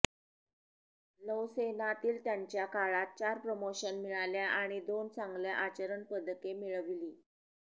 नौसेनातील त्यांच्या काळात चार प्रमोशन मिळाल्या आणि दोन चांगल्या आचरण पदके मिळविली